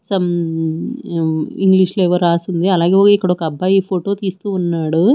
Some యు English లో ఏవో రాసుంది అలాగే ఇక్కడ ఒక అబ్బాయ్ ఫోటో తీస్తూవున్నాడు.